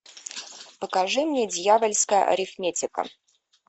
покажи мне дьявольская арифметика